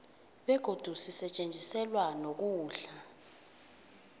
begodi sisetjenziselwa nokudla